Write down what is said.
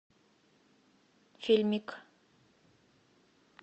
фильмик